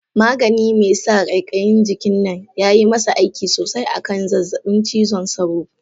Magani mai sa kaikayin jikin nan yayi masa aiki sosai a kan zazzabin cizon sauro.